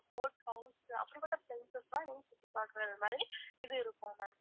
boat house அப்படிப்பட்ட places க்குலாம் நீங்க சுற்றி பாக்கற மாதிரி இது இருக்கும் ma'am